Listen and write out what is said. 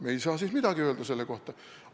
Me ei saa siis midagi öelda selle kohta.